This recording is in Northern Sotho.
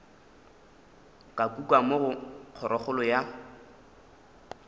ka kukamo go kgorokgolo ya